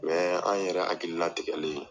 an yɛrɛ hakilina tigɛlen